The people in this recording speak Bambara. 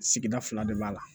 Sigida fila de b'a la